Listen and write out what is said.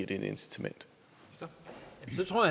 gevinst